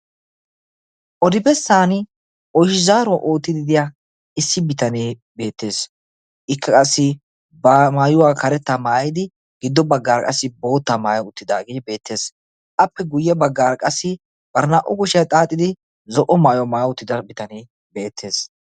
odibessan oychizaaruwaa oottidi diya issi bitanee beettees. ikka qassi ba maayuwaa karetta maayidi giddo baggar qassi boottaa maaya uttidaagee beettees. appe guyye baggaar qassi barinaa'o goshiyaa xaaxidi zo'o maayuwaa maaya otida bitanee beettees.